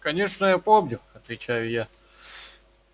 конечно я помню отвечаю я